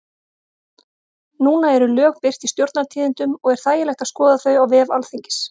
Núna eru lög birt í Stjórnartíðindum og er þægilegt að skoða þau á vef Alþingis.